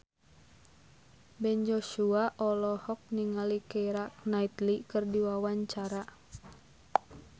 Ben Joshua olohok ningali Keira Knightley keur diwawancara